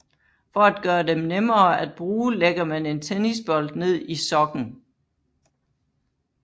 For at gøre dem nemmere at bruge lægger man en tennisbold ned i sokken